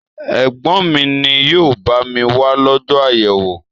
Ègbón mi ni yóò bá mi wá lọ́jọ́ àyẹ̀wò